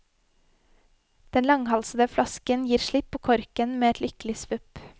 Den langhalsede flasken gir slipp på korken med et lykkelig svupp.